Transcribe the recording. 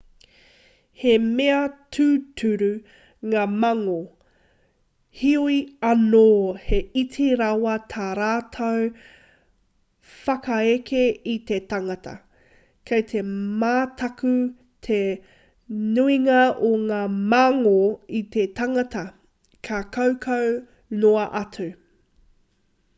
he mea tūturu ngā mangō heoi anō he iti rawa tā rātou whakaeke i te tangata kei te mataku te nuinga o ngā mangō i te tangata ka kaukau noa atu